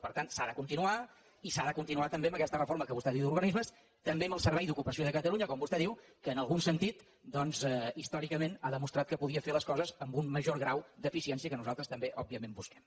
per tant s’ha de continuar i s’ha de continuar també amb aquesta reforma que vostè diu d’organismes també amb el servei d’ocupació de catalunya com vostè diu que en algun sentit doncs històricament ha demostrat que podia fer les coses amb un major grau d’eficiència que nosaltres també òbviament busquem